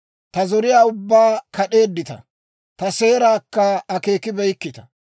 Ta zoriyaa ubbaa kad'eeddita; ta seeraakka akkibeyikkita.